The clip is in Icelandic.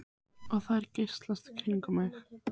Og þær geysast í kringum mig.